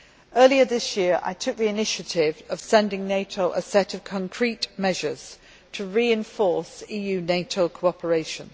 Earlier this year I took the initiative of sending NATO a set of concrete measures to reinforce EU NATO cooperation.